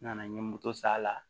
N nana n ye moto s'a la